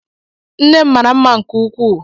Nne m mara mma nke ukwuu.